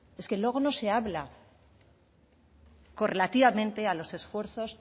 es que luego no se habla correlativamente a los esfuerzos